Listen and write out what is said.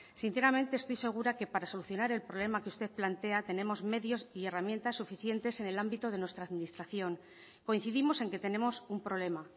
sinceramente estoy segura que para solucionar el problema que usted plantea tenemos medios y herramientas suficientes en el ámbito de nuestra administración coincidimos en que tenemos un problema